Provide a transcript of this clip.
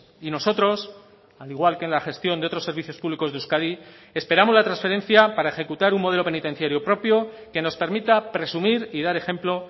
y nosotros al igual que en la gestión de otros servicios públicos de euskadi esperamos la transferencia para ejecutar un modelo penitenciario propio que nos permita presumir y dar ejemplo